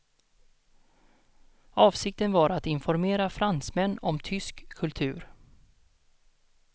Avsikten var att informera fransmän om tysk kultur.